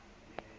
a fotse le ha ho